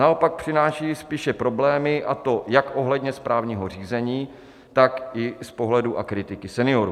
Naopak přináší spíše problémy, a to jak ohledně správního řízení, tak i z pohledu a kritiky seniorů.